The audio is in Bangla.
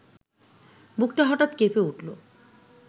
বুকটা হঠাৎ কেঁপে উঠল